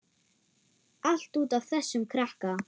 Allt út af þessum krakka.